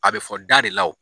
A bɛ fɔ da de la wo.